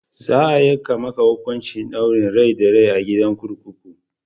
Za a yanke maka hukuncin ɗaurin rai da rai a gidan kurkuku!